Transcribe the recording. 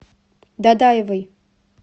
дадаевой